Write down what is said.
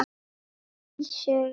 Egils sögu.